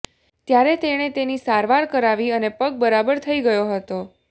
ત્યારે તેણે તેની સારવાર કરાવી અને પગ બરાબર થઈ ગયો હતો